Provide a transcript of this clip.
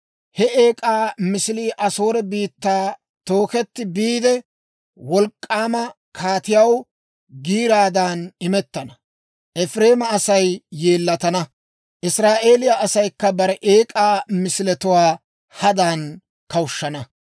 He eek'aa misilii Asoore biittaa tooketti biide, wolk'k'aama kaatiyaw giiraadan imettana. Efireema Asay yeellatana; Israa'eeliyaa asaykka bare eek'aa misiletuwaa hadan kawushshana.